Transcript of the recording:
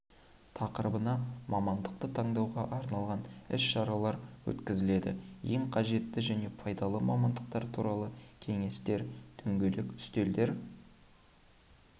тақырыбына мамандықты таңдауға арналған іс-шаралар өткізіледі ең қажетті және пайдалы мамандықтар туралы кеңестер дөңгелек үстелдер